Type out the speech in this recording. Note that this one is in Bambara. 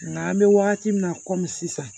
Nka an bɛ wagati min na komi sisan